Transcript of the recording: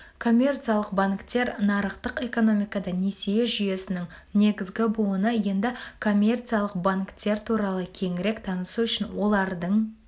коммерциялық банктер нарықтық экономикада несие жүйесінің негізгі буыны енді коммерциялық банктер туралы кеңірек танысу үшін олардың